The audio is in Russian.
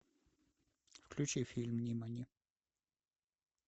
включи фильм нимани